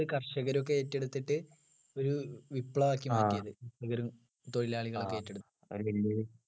കർഷകരൊക്കെ ഏറ്റെടുത്തിട്ട് ഒരു വിപ്ലവാക്കി മാറ്റി അത് തൊഴിലാളികളൊക്കെ ഏറ്റെടുത്തു